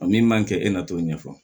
A min man kɛ e na t'o ɲɛfɔ